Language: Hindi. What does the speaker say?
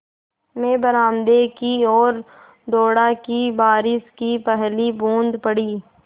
मैं बरामदे की ओर दौड़ा कि बारिश की पहली बूँद पड़ी